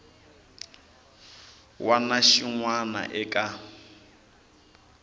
wana na xin wana eka